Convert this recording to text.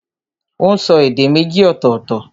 Ó n so èdè méjì ọ̀tọ̀ọ̀tọ̀